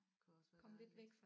Kan også være dejligt